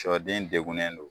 Siyɔden degunnen don.